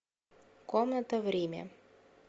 комната в риме